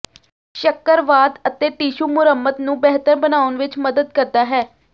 ਸ਼ੱਕਰਵਾਦ ਅਤੇ ਟਿਸ਼ੂ ਮੁਰੰਮਤ ਨੂੰ ਬਿਹਤਰ ਬਣਾਉਣ ਵਿਚ ਮਦਦ ਕਰਦਾ ਹੈ